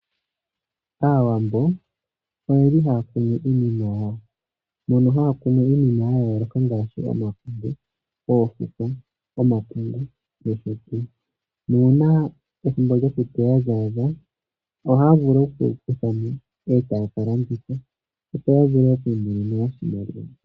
Aawambo oyeli haya kunu iinima yawo mono haya kunu iinima ya yooloka ngaashi oofukwa ,omakunde, oofukwa nuuna ethimbo lyokuteya lya adha ohaya vulu okudhi kutha eta kalanditha mo opo ya vule okumona mo iiyemo.